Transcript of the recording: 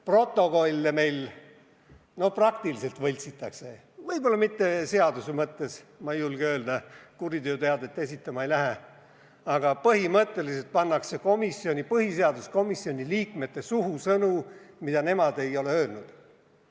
Protokolle meil praktiliselt võltsitakse – võib-olla mitte seaduse mõttes, ma ei julge seda öelda ja kuriteoteadet esitama ei lähe –, aga põhimõtteliselt pannakse põhiseaduskomisjoni liikmete suhu sõnu, mida nad ei ole öelnud.